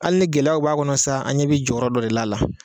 Ali ni gɛlɛyaw b'a kɔnɔ sa an ɲɛ be jɔyɔrɔ dɔ de l'a la